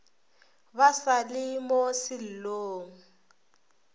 ba sa le mo sellong